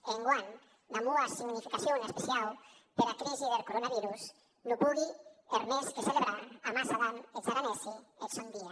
e enguan damb una significacion especiau pera crisi deth coronavirus non pogui hèr mès que celebrar amassa damb es aranesi eth sòn dia